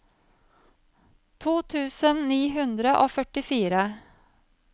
to tusen ni hundre og førtifire